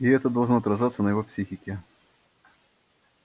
и это должно отражаться на его психике